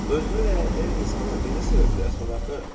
Özünü lənətləyən insanı necə sevə bilərsən axı?